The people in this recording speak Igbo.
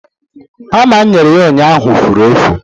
hama m nyere ya ụnyaahụ fụrụ efụ